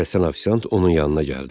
Tələsən ofisiant onun yanına gəldi.